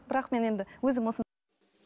бірақ мен енді өзім